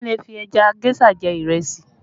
Wọn lè fi ẹja géṣà jẹ ìrẹsì